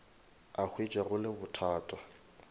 a hwetša go le bothata